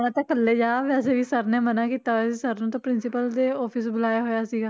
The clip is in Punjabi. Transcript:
ਜਾਣਾ ਤਾਂ ਇਕੱਲੇ ਜਾ ਵੈਸੇ ਵੀ sir ਨੇ ਮਨਾ ਕੀਤਾ ਹੋਇਆ ਸੀ sir ਨੂੰ ਤਾਂ principal ਦੇ office ਬੁਲਾਇਆ ਹੋਇਆ ਸੀਗਾ